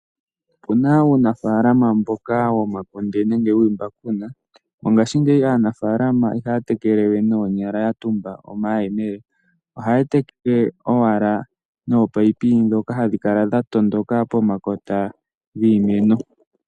Uuna uunafaalama mboka yo makunde nenge wiimbakuna . Mongashingeyi aanafaalama ihaya tekele we koonyala ya tumba omahemele. Ohaya teke owala noopayipi dhoka hadhi kala dha tondoka pomakota giimeno.